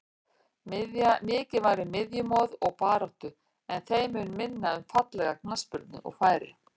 Mikið var um miðjumoð og baráttu en þeim mun minna um fallega knattspyrnu og færi.